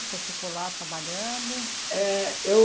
O senhor ficou lá trabalhando? É, eu